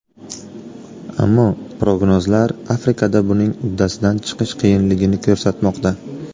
Ammo prognozlar Afrikada buning uddasidan chiqish qiyinligini ko‘rsatmoqda.